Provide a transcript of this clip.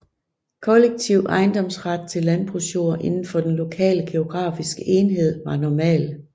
Kollektiv ejendomsret til landbrugsjord inden for den lokale geografiske enhed var normal